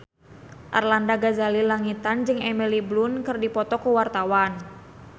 Arlanda Ghazali Langitan jeung Emily Blunt keur dipoto ku wartawan